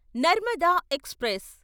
Narmada express